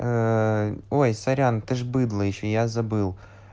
ээ ой сорян ты же быдло ещё я забыл